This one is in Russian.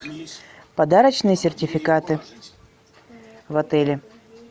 подарочные сертификаты в отеле